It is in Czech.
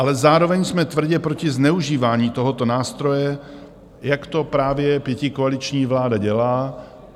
Ale zároveň jsme tvrdě proti zneužívání tohoto nástroje, jak to právě pětikoaliční vláda dělá.